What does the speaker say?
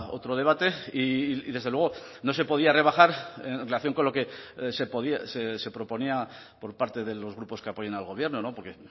otro debate y desde luego no se podía rebajar en relación con lo que se proponía por parte de los grupos que apoyan al gobierno porque